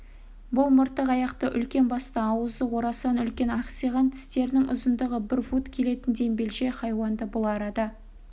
бұл мыртық аяқты үлкен басты ауызы орасан үлкен ақсиған тістерінің ұзындығы бір фут келетін дембелше хайуанды бұл арада